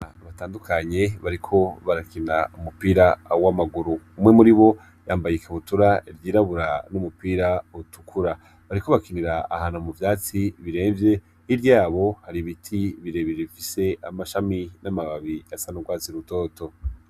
Batandukanye bariko barakina umupira w'amaguru umwe muri bo yambaye ikabutura ryirabura n'umupira utukura bariko bakinira ahantu mu vyatsi biremvye iryabo hari ibiti birebije bifise amashami n'amababi asan'urwazi rutoto.